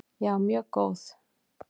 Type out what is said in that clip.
Já, mjög góð.